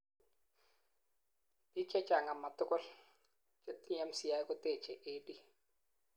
biik chechang amatugul, chetinyei MCI kotechei AD